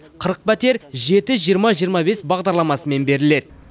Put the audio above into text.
қырық пәтер жеті жиырма жиырма бес бағдарламасымен беріледі